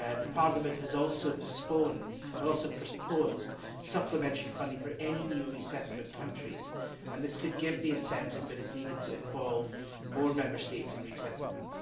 Parliament has also proposed supplementary funding for any new resettlement countries and this could give the incentive that is needed to involve more Member States in resettlement.